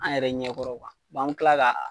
An yɛrɛ ɲɛ kɔrɔ kuwa wa an bɛ tila k'a